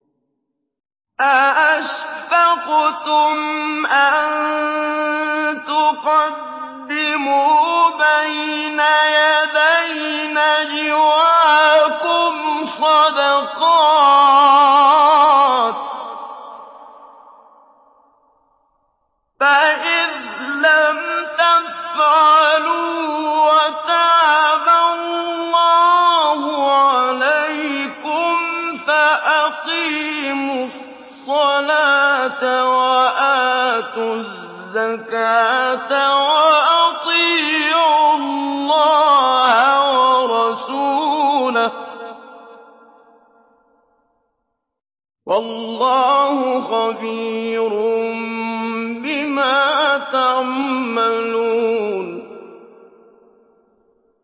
أَأَشْفَقْتُمْ أَن تُقَدِّمُوا بَيْنَ يَدَيْ نَجْوَاكُمْ صَدَقَاتٍ ۚ فَإِذْ لَمْ تَفْعَلُوا وَتَابَ اللَّهُ عَلَيْكُمْ فَأَقِيمُوا الصَّلَاةَ وَآتُوا الزَّكَاةَ وَأَطِيعُوا اللَّهَ وَرَسُولَهُ ۚ وَاللَّهُ خَبِيرٌ بِمَا تَعْمَلُونَ